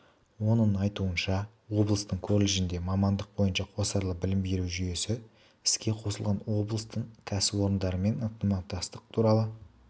оның айтуынша облыстың колледжінде мамандық бойынша қосарлы білім беру жүйесі іске қосылған облыстың кәсіпорындарымен ынтымақтастық туралы